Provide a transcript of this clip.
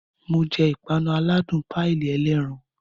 Mo jẹ ìpanu aládùn páìlì ẹlẹ́ran